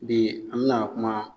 Bi an bi na kuma